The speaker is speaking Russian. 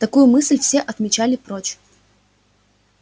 такую мысль все отмечали прочь